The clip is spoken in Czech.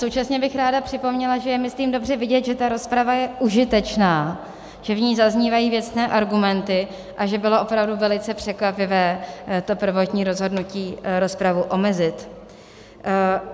Současně bych ráda připomněla, že je, myslím, dobře vidět, že ta rozprava je užitečná, že v ní zaznívají věcné argumenty a že bylo opravdu velice překvapivé to prvotní rozhodnutí rozpravu omezit.